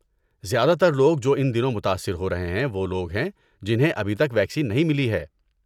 زیادہ تر لوگ جو ان دنوں متاثر ہو رہے ہیں وہ لوگ ہیں جنہیں ابھی تک ویکسین نہیں ملی ہے۔